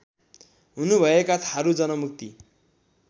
हुनुभएका Tharu Janmukti